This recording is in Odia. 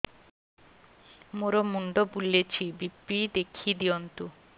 ମୋର ମୁଣ୍ଡ ବୁଲେଛି ବି.ପି ଦେଖି ଦିଅନ୍ତୁ